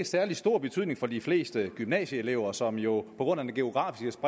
særlig stor betydning for de fleste gymnasieelever som jo på grund af den geografiske